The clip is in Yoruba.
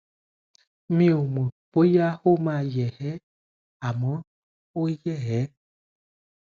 mi ò mọ bóyá ó máa yè é àmọ ó yè é